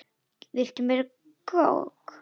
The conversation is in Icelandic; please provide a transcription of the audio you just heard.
Viltu meira kók?